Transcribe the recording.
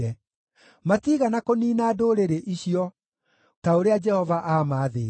Matiigana kũniina ndũrĩrĩ icio ta ũrĩa Jehova aamaathĩte,